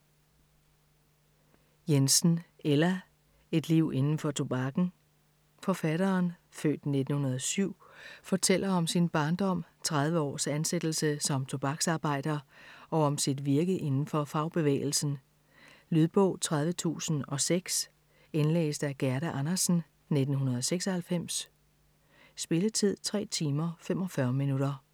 Jensen, Ella: Et liv indenfor Tobakken Forfatteren (f. 1907) fortæller om sin barndom, 30 års ansættelse som tobaksarbejder og om sit virke inden for fagbevægelsen. Lydbog 30006 Indlæst af Gerda Andersen, 1996. Spilletid: 3 timer, 45 minutter.